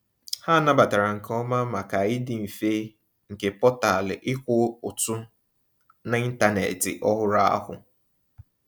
Ha nabatara nke oma, maka ịdị mfe nke portal ịkwụ ụtụ n’ịntanetị ọhụrụ ahụ.